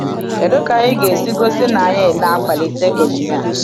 Kedu ka anyị ga-esi gosi na anyị na-akwalite onyinye a?